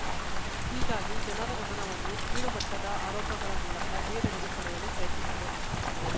ಹೀಗಾಗಿ ಜನರ ಗಮನವನ್ನು ಕೀಳುಮಟ್ಟದ ಆರೋಪಗಳ ಮೂಲಕ ಬೇರೆಡೆಗೆ ಸೆಳೆಯಲು ಪ್ರಯತ್ನಿಸಿದೆ